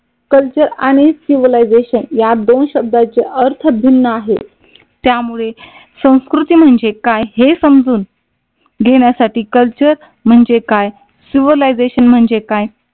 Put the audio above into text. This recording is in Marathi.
कल्चर आणि सिव्हिलायझेशन या दोन शब्दाचे अर्थ भिन्न आहेत. त्यामुळे संस्कृती म्हणजे काय? हे समजून घेण्यासाठी कल्चर म्हणजे काय? सिव्हिलायझेशन म्हणजे काय?